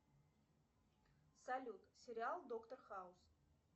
салют сериал доктор хаус